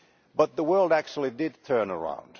But the world actually did turn around.